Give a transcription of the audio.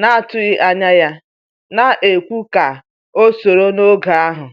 na atụghị anya ya, na ekwu ka o soro n'oge ahu